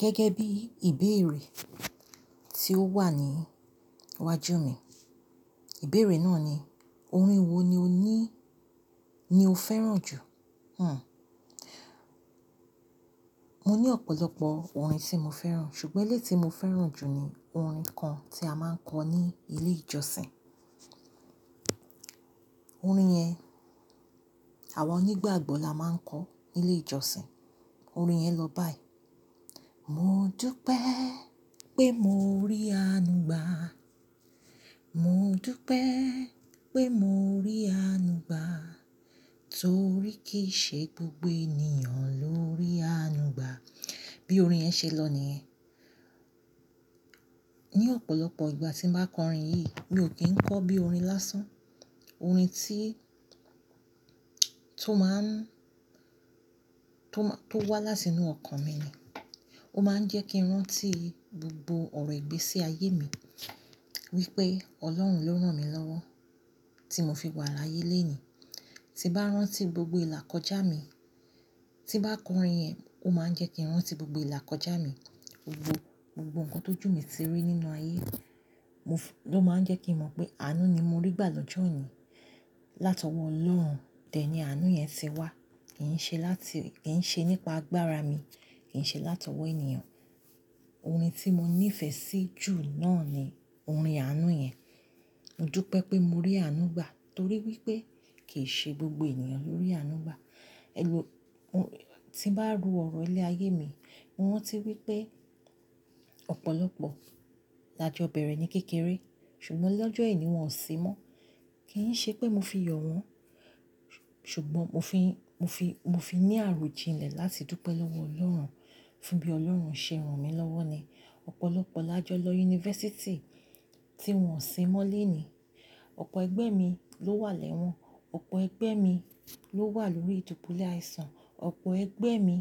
Gẹ́gẹ́ bí ìbéèrè tí ó wà ní iwájú mi, ìbéèrè náà ni, orin wo ni o ní, ni o fẹ́ràn jù? Hm. Mo ní ọ̀pọ̀lọpọ̀ orin tí mo fẹ́ràn, ṣùgbọ́n èyí tí mo fẹ́ràn jù ni orin kan tí a máa ń kọ ní ilé ìjọsìn. Orin yẹn, àwa onígbàgbọ́ la máa ń kọ nílé ìjọsìn. Orin yẹn lọ báyìí. Mo dúpẹ́ pé mo rí àánú gbà. Mo dúpẹ́ pé mo rí àánú gbà. Torí kì í ṣe gbogbo ènìyàn ló rí àánú gbà. Bí orin yẹn ṣe lọ nìyen. Ní ọ̀pọ̀lọpọ̀ ìgbà tí mo bá kọ orin yìí, mi ò kí ń kọ bí i orin lásán. Orin tí, tó máa ń, tó máa, tó wá látinú ọkàn mi ni. Ó máa ń jẹ́ kí n rántí gbogbo ọ̀rọ̀ ìgbésí ayé mi. Wípé Ọlọ́run ló rán mi lọ́wọ́ tí mo fi wà láyé lónìí. Tí bá rántí gbogbo ìlà kọjá mi, tí bá kọ orin yẹn, ó máa ń jẹ́ kí n rántí gbogbo ìlà kọjá mi. Gbogbo, gbogbo nǹkan t'ójù mí tí rí nínú ayé. Mo f-- ló máa ń jẹ́ kí n mọ̀ pé àánú ni mo rí gbà lọ́jọ́ òní. Látọwọ́ Ọlọ́run, dẹ̀ ní àánú yẹn ti wá. Kì í ṣe láti, kì í ṣe nípa agbára mi, kì í ṣe látọwọ́ ènìyàn. Orin tí mo nífẹ̀ẹ́ sí jù náà ni orin àánú yẹn. Mo dúpẹ́ pé mo rí àánú gbà, torí wípé kì í ṣe gbogbo ènìyàn ló rí àánú gbà. Tí bá ru ọ̀rọ̀ ilé ayé mi, mo rántí wípé ọ̀pọ̀lọpọ̀ làjọ bẹ̀rẹ̀ ní kékeré, ṣùgbọ́n lọ́jọ́ òní wọn ò sí mọ́. Kì í ṣe pé mo fi yọ̀ wọ́n, ṣùgbọ́n mo fi, mo fi, mo fi ní àròjinlẹ̀ láti dúpẹ́ lọ́wọ́ Ọlọ́run, fún bí Ọlọ́run ṣe rán mi lọ́wọ́ ni. Ọ̀pọ̀lọpọ̀ lájọ lọ yunifásítì tí wọn ò sí mọ́ léèníi. Ọ̀pọ̀ ẹgbẹ́ mi ló wà lẹ́wọ̀n, ọ̀pọ̀ ẹgbẹ́ mi ló wà lórí ìdùbùlẹ̀ àìsàn, ọ̀pọ̀ ẹgbẹ́ mi